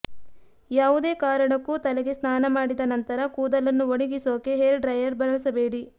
ಯಾವುದೇ ಕಾರಣಕ್ಕೂ ತಲೆಗೆ ಸ್ನಾನ ಮಾಡಿದ ನಂತರ ಕೂದಲನ್ನು ಒಣಗಿಸೋಕೆ ಹೇರ್ ಡ್ರೈಯರ್ ಬಳಸಬೇಡಿ